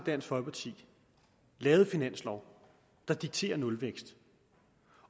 dansk folkeparti lavet en finanslov der dikterer nulvækst